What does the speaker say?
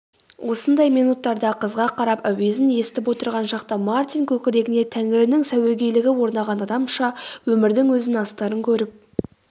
осындай минуттарда қызға қарап әуезін есітіп отырған шақта мартин көкірегіне тәңірінің сәуегейлігі орнаған адамша өмірдің өзін астарын көріп